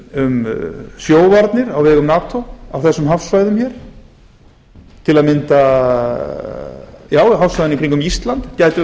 um sjóvarnir á vegum nato á þessum hafsvæðum hér á m hafsvæðin í kringum ísland gætu